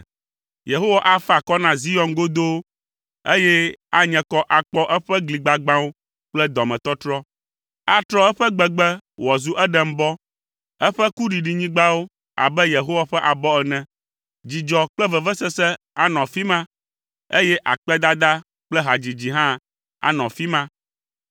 Yehowa afa akɔ na Zion godoo, eye anye kɔ akpɔ eƒe gli gbagbãwo kple dɔmetɔtrɔ. Atrɔ eƒe gbegbe wòazu Edenbɔ, eƒe kuɖinyigbawo abe Yehowa ƒe abɔ ene. Dzidzɔ kple vivisese anɔ afi ma eye akpedada kple hadzidzi hã anɔ afi ma.